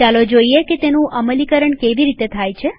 ચાલો જોઈએ કે તેનું અમલીકરણ કેવી રીતે થાય છે